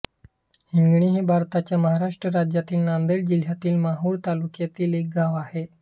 हिंगणी हे भारताच्या महाराष्ट्र राज्यातील नांदेड जिल्ह्यातील माहूर तालुक्यातील एक गाव आहे